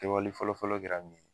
fɔlɔfɔlɔ kɛra min ye